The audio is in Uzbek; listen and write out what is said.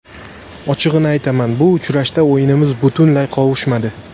Ochig‘ini aytaman, bu uchrashda o‘yinimiz butunlay qovushmadi.